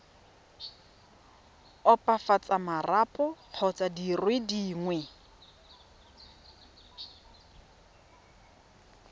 opafatsa marapo kgotsa dire dingwe